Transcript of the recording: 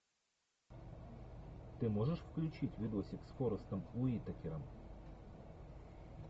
ты можешь включить видосик с форестом уитакером